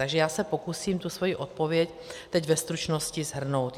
Takže já se pokusím tu svoji odpověď teď ve stručnosti shrnout.